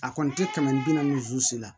A kɔni tɛ kɛmɛ bi naani la